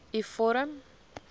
u vorm